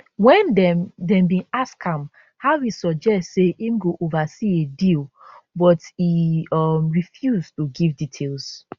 wen dem dem bin ask am how e suggest say im go oversee a deal but e um refuse to give details